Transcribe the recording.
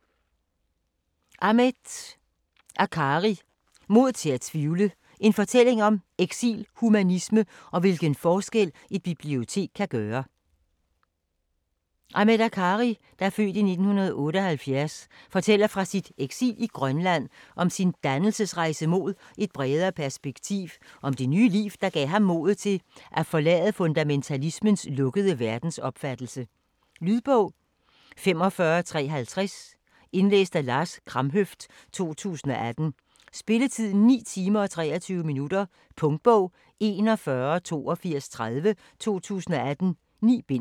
Akkari, Ahmed: Mod til at tvivle: en fortælling om eksil, humanisme og hvilken forskel et bibliotek kan gøre Ahmed Akkari (f. 1978) fortæller fra sit eksil i Grønland, om sin dannelsesrejse mod et bredere perspektiv, og om det nye liv, der gav ham modet til at forlade fundamentalismens lukkede verdensopfattelse. Lydbog 45350 Indlæst af Lars Kramhøft, 2018. Spilletid: 9 timer, 23 minutter. Punktbog 418230 2018. 9 bind.